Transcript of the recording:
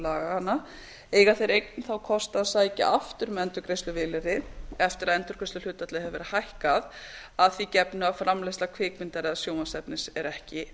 laganna eiga þeir þá einnig kost á að sækja aftur um endurgreiðsluvilyrði eftir að endurgreiðsluhlutfallið hefur verið hækkað að því gefnu að framleiðsla kvikmyndar eða sjónvarpsefnis er ekki